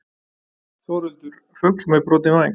Þórhildur fugl með brotinn væng.